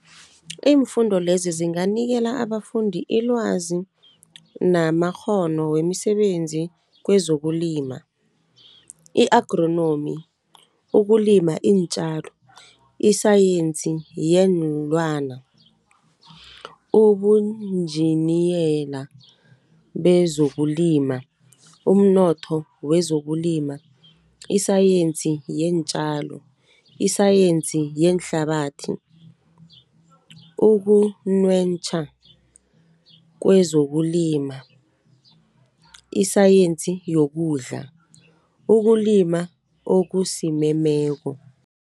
Iimfundo lezi zinganikela abafundi ilwazi namakghono wemisebenzi kwezokulima, i-Agronomy, ukulima iintjalo, isayensi yeenlwana, ubunjiniyela bezokulima, umnotho wezokulima, isayensi yeentjalo, isayensi yeenhlabathi ukunwentjha kwezokulima, isayensi yokudla, ukulima okusimemeko.